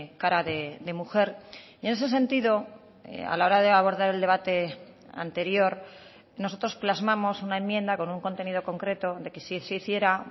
cara de mujer y en ese sentido a la hora de abordar el debate anterior nosotros plasmamos una enmienda con un contenido concreto de que si se hiciera